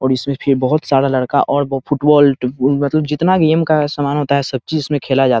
और इसमें फिर बहोत सारा लड़का और वो फुटबॉल मतलब जितना गेम का सामान होता है सब चीज इसमें खेला जा --